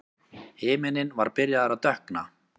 Himinninn var byrjaður að dökkna.